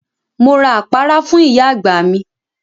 Mo ra àpárá fún ìyá àgbà mi.